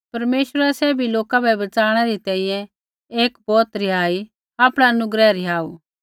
परमेश्वरै सैभी लोका बै बच़ाणै री तैंईंयैं एक बौत रिहाईया आपणा अनुग्रह रिहाऊ